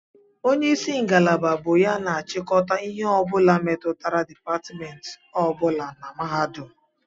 Onye isi ngalaba bụ ya na-achịkọta ihe ọ bụla metụtara dipatmentị ọ bụla na mahadum